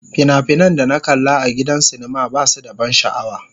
Fina-finan da na kalla a gidan sinima ba su da ban sha'awa.